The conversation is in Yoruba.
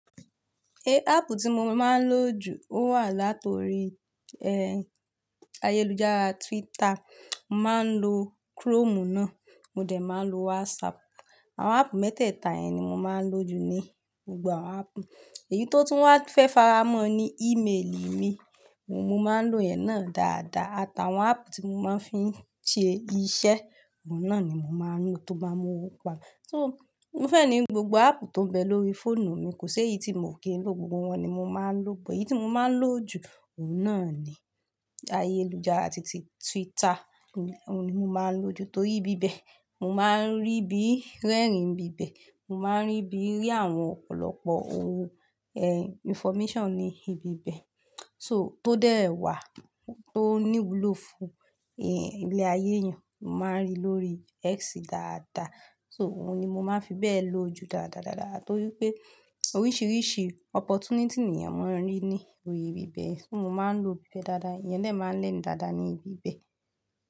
Eh, áápù tí mo máa ń lò jù ó wà láti orí, eh, ayélujára Twitter. Mo máa ń lo Chrome náà, mo dẹ̀ máa ń lo WhatsApp. Àwọn áápù mẹ́tẹ̀ẹ̀ta yẹn ni mo máa ń lò jù ní gbogbo àwọn áápù. Èyí tó tún wá fẹ́ faramọ́ ni email mi, mo máa ń lò ẹ̀ náà dáadáa. Àtàwọn áápù tí mo máa ń fi ń ṣe iṣẹ́, ohun náà ni mo máa ń lò tó bá mu owọ́ wa. So, mo fẹ́ ní gbogbo áápù tó ń bẹ lórí fóònù mi, kò sé èyí tí mo kì í lò, gbogbo wọn ni mo máa ń lò. But èyí tí mo máa ń lò jù, òhun náà ni ayélujára titi Twitter, òhun ni mo máa ń lò jù torí ibíbẹ̀ mo máa ń rí bí rẹ́rìn n bíbẹ̀, mo máa ń rí bí rí àwọn ọ̀pọ̀lọpọ̀ owo, information ní ibi bẹ. So, tó dẹ́ẹ̀ wá, tó níwúlò fún, ilé ayé èèyàn, mo máa ń rí lórí X dáadáa. So, òhun ni mo máa ń fi bẹ ló jù dáadáadáadáa torí pé oríṣìríṣì opportunity ni èeyan máa ń rí ní orí ibi bẹ. Mo máa ń lò ibi bẹ dáadáa. Eeyan de máa ń learn dáadáa ní ibi bẹ.